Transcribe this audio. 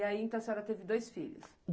E aí, então, a senhora teve dois filhos?